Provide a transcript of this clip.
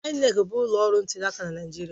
INEC bụ ụlọ ọrụ ntuliaka na Naịjirịa.